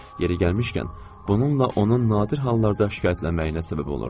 Yeri gəlmişkən, bununla onun nadir hallarda şikayətlənməyinə səbəb olurdu.